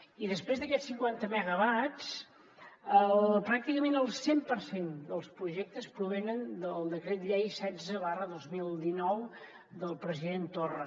i després d’aquests cinquanta megawatts pràcticament el cent per cent dels projectes provenen del decret llei setze dos mil dinou del president torra